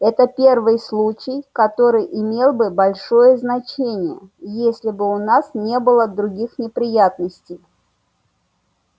это первый случай который имел бы большое значение если бы у нас не было других неприятностей